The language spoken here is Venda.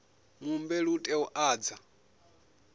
muhumbeli u tea u ḓadza